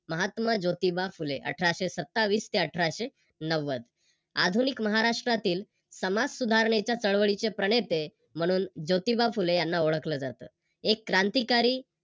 महात्मा जोतिबा फुले अठराशे सत्तावीस ते अठराशे नव्वद. आधुनिक महाराष्ट्रातील समाजसुधारणेच्या चळवळीचे प्रणेते म्हणून ज्योतिबा फुले यांना ओळखल जात. एक क्रांतिकारी